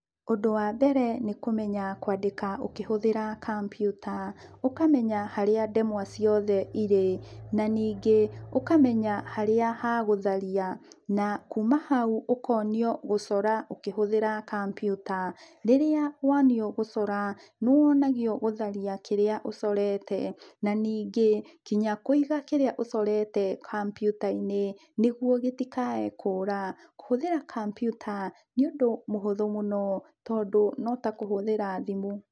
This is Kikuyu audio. Ũndũ wa mbere nĩkũmenya kwandĩka ũkĩhũthĩra kambiuta. Ũkamenya harĩa ndemwa ciothe irĩ, na ningĩ, ũkamenya harĩa ha gũtharia. Na kuma hau, ũkonio gũcora ũkĩhũthĩra kambiuta. Rĩrĩa wonio gũcora, nĩwonagio gũtharia kĩrĩa ũcorete, na ningĩ, nginya kũiga kĩrĩa ũcorete kambiuta-inĩ, nĩguo gĩtikae kũra. Kũhũthĩra kambiuta nĩũndũ mũhũthũ mũno tondũ no ta kũhũthĩra thimũ.